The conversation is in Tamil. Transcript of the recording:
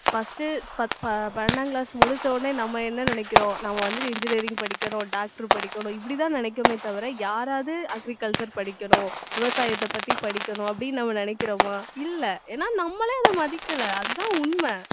first பத்~ பன்னெண்டாம் class முடிச்ச உடனே நம்ம என்ன நினைக்கிறோம் நம்ம வந்துட்டு engineering படிக்கணும் doctor படிக்கணும் இப்படித்தான் நினைக்குறமே தவிர யாராவது agriculture படிக்கணும் விவசாயத்தைப் பத்தி படிக்கணும் அப்படின்னு நம்ம நினைக்கிறோமா இல்லை ஏன்னா நம்மளே அதை மதிக்கலை அதுதான் உண்மை.